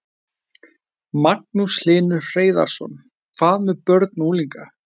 Magnús Hlynur Hreiðarsson: Hvað með börn og unglinga?